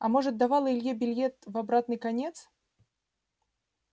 а может давала илье билет в обратный конец